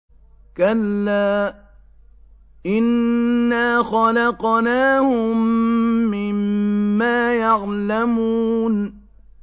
كَلَّا ۖ إِنَّا خَلَقْنَاهُم مِّمَّا يَعْلَمُونَ